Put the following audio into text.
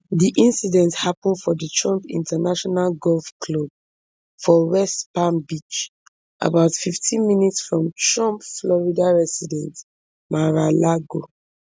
di incident happun for di trump international golf club for west palm beach about fifteen minutes from trump florida residence maralago